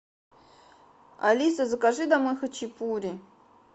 алиса закажи домой хачапури